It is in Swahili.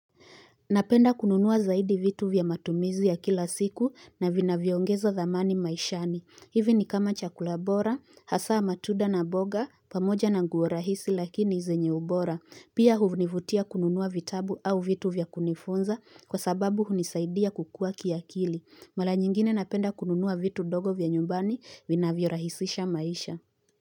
Napenda kununua zaidi vitu vya matumizi ya kila siku na vinavyo ongeza thamani maishani. Hivi ni kama chakula bora, hasa matunda na mboga, pamoja na nguo rahisi lakini zenye ubora. Pia hunivutia kununua vitabu au vitu vya kunifunza kwa sababu hunisaidia kukua kiakili. Mara nyingine napenda kununua vitu dogo vya nyumbani vinavyorahisisha maisha.